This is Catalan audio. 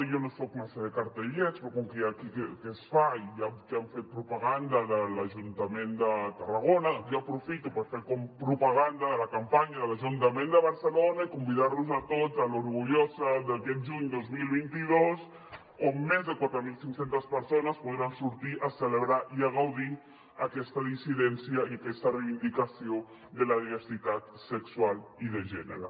i jo no soc massa de cartellets però com que es fa i n’hi ha que han fet propaganda de l’ajuntament de tarragona doncs jo aprofito per fer propaganda de la campanya de l’ajuntament de barcelona i convidar los a tots l’orgullosa d’aquest juny dos mil vint dos on més de quatre mil cinc cents persones podran sortir a celebrar i a gaudir aquesta dissidència i aquesta reivindicació de la diversitat sexual i de gènere